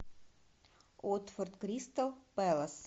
уотфорд кристал пэлас